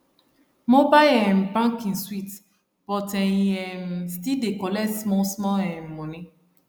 mobile um banking sweet but e um still dey collect small small um money